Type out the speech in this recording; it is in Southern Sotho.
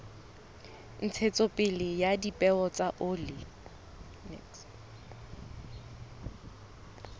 ntshetsopele ya dipeo tsa oli